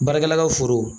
Baarakɛla ka foro